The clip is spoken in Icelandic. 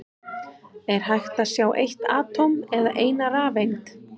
Er hægt að sjá eitt atóm eða eina rafeind?